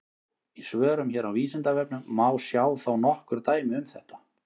Í svörum hér á Vísindavefnum má sjá þó nokkur dæmi um þetta.